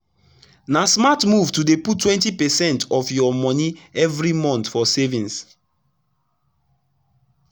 na smart move to dey put 20 percent of your moni everi month for savings.